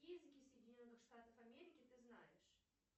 какие языки соединенных штатов америки ты знаешь